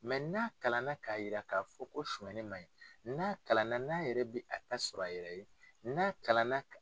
n'a kalan na ka yira ka fɔ ko sonyali man ɲi n'a kalan na n'a yɛrɛ bi a ta sɔrɔ a yɛrɛ ye n'a kalan na.